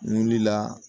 Wuli la